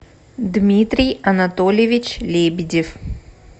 дмитрий анатольевич лебедев